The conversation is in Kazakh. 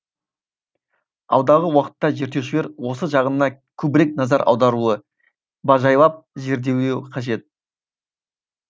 алдағы уақытта зерттеушілер осы жағына көбірек назар аударуы бажайлап зерделеуі қажет